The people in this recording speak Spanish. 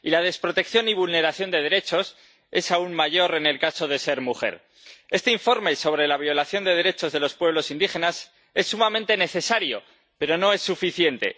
Y la desprotección y vulneración de derechos es aún mayor en el caso de ser mujer. Este informe sobre la violación de derechos de los pueblos indígenas es sumamente necesario, pero no es suficiente.